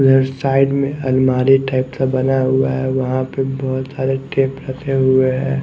इधर साइड में अलमारी टाइप का बना हुआ है वहां पे बहोत सारे टेप रखे हुए हैं।